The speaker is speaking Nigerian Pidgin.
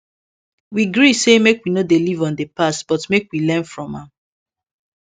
we gree say make we no dey live on the past but make we learn from am